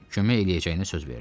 Kömək eləyəcəyinə söz verdi.